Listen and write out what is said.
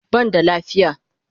Ban da lafiya